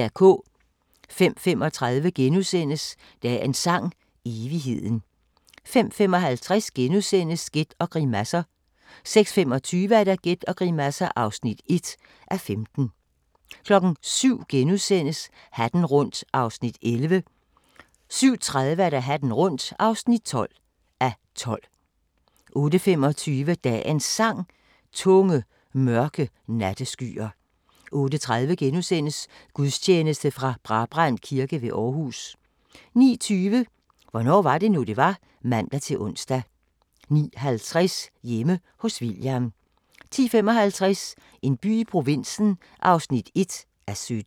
05:35: Dagens Sang: Evigheden * 05:55: Gæt og grimasser * 06:25: Gæt og grimasser (1:15) 07:00: Hatten rundt (11:12)* 07:30: Hatten rundt (12:12) 08:25: Dagens Sang: Tunge, mørke natteskyer 08:30: Gudstjeneste fra Brabrand Kirke ved Aarhus * 09:20: Hvornår var det nu, det var? (man-ons) 09:50: Hjemme hos William 10:55: En by i provinsen (1:17)